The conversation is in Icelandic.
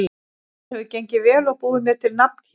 Mér hefur gengið vel og búið mér til nafn hérna.